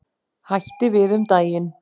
Hætti við um daginn.